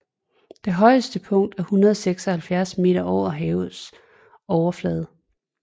Det højeste punkt er 176 meter over havets overflade